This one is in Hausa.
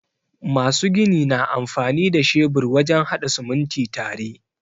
Masu gini na amfani da shebur wajen haɗa sumunti tare.